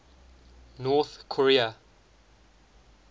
north korea